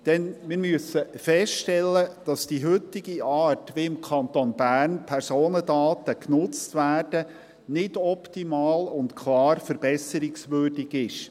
Denn wir müssen feststellen, dass die heutige Art, wie im Kanton Bern Personendaten genutzt werden, nicht optimal und klar verbesserungswürdig ist.